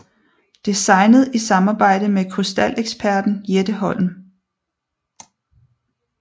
Designet i samarbejde med krystaleksperten Jette Holm